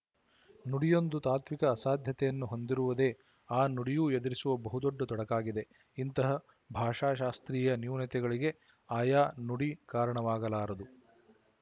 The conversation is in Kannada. ನುಡಿಯೊಂದು ತಾತ್ವಿಕ ಅಸಾಧ್ಯತೆಯನ್ನು ಹೊಂದಿರುವುದೇ ಆ ನುಡಿಯೂ ಎದುರಿಸುವ ಬಹುದೊಡ್ಡ ತೊಡಕಾಗಿದೆ ಇಂತಹ ಭಾಷಾಶಾಸ್ತ್ರೀಯ ನೂನ್ಯತೆಗಳಿಗೆ ಆಯಾ ನುಡಿ ಕಾರಣವಾಗಲಾರದು